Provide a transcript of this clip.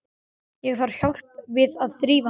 Ég þarf hjálp við að þrífa mig.